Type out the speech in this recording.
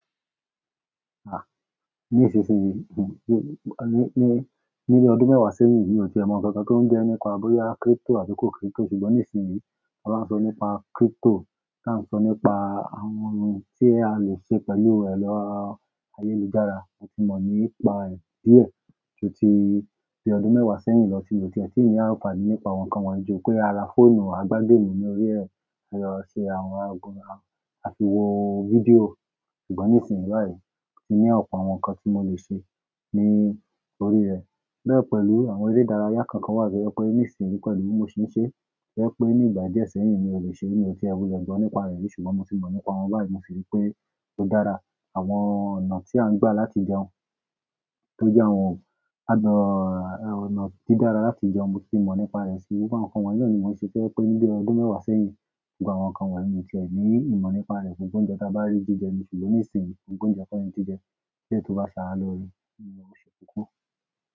Ah! Nísinsìnyí, ní, ní, ní ọdún mẹ́wàá sẹ́yìn, mi ò tíe mọ ǹkan kan tó ń jẹ́ nípa bọ́yá crypto àbí kò crypto, ṣùgbọ́n nísinsìnyí, a máa ń sọ nípa crypto, tá ń sọ nípa àwọn oun tí a lè ṣe pẹ̀lú ẹ̀ lọ ayélujára, mo tì mọ nípa rẹ̀ díẹ̀ ju tí, tí ọdún mẹ́wàá sẹ́yìn lọ tí mo ti ẹ̀ tí ní àǹfààní nípa àwọn nǹkan wọ́n yìí jù pé ara fóònù, a gbá game ní orí ẹ̀, a lè lọ ṣe àwọn aago, a fi wo fídíò, ṣùgbọ́n nísinsìnyí báyìí, mo ní ọ̀pọ̀ àwọn ǹkan tí mo lè ṣe ní orí rẹ̀, bẹ́ẹ̀ pẹ̀lú àwọn eré ìdárayá kan kan wá to je pé ní ìsinsìnyí pẹ̀lú mo ṣi ń ṣe, to je pé ní ìgbà díẹ̀ sẹ́yìn mi ò lè ṣe, mi ò tíe wule gbo nípa rẹ̀ ri, ṣùgbọ́n mo tì mọ nípa wọn báyìí, mo sì rí pé ó dára. Àwọn ọ̀nà tí à ń gbà láti jẹun tó jẹ́ àwọn ano- ọ̀nà to dára láti jẹun, mo tì mọ nípa rẹ̀ sì, àwọn nǹkan wọ́n yìí ni mò ń ṣe to je pé níbí ọdún mẹ́wàá sẹ́yìn, ṣùgbọ́n àwọn nǹkan wọ̀nyí mi ò tí è ní ìmọ̀ nípa rẹ̀ gbógbò ounjẹ́ ta bá rí jíjẹ ni, ṣùgbọ́n nísinsìnyí gbógbò ounjẹ́ ko ni jíjẹ, eleyii tó bá ṣàra lore, óun lo ṣé koko.